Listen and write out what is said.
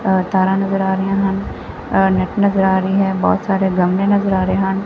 ਐ ਤਾਰਾਂ ਨਜ਼ਰ ਆ ਰਹੀਆ ਹਨ ਐ ਨੈਟ ਨਜ਼ਰ ਆ ਰਹੀ ਹੈ ਬਹੁਤ ਸਾਰੇ ਗਮਲੇ ਨਜ਼ਰ ਆ ਰਹੇ ਹਨ।